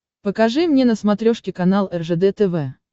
покажи мне на смотрешке канал ржд тв